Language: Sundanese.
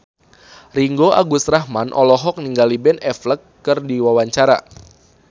Ringgo Agus Rahman olohok ningali Ben Affleck keur diwawancara